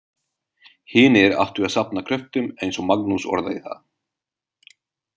Hinir áttu að safna kröftum eins og Magnús orðaði það.